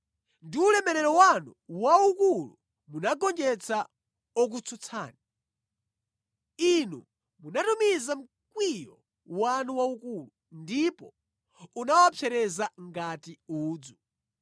Ndi ulemerero wanu waukulu, munagonjetsa okutsutsani. Inu munatumiza mkwiyo wanu waukulu; ndipo unawapsereza ngati udzu.